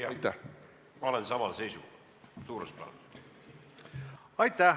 Aitäh!